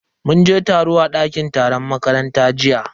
Mun je taro a dakin taron makaranta jiya.